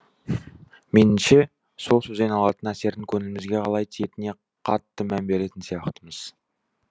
меніңше сол сөзден алатын әсердің көңілімізге қалай тиетініне қатты мән беретін сияқтымыз